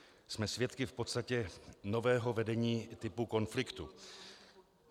Jsme svědky v podstatě nového vedení typu konfliktu.